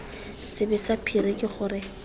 sebe sa phiri ke gore